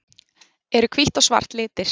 Eru hvítt og svart litir?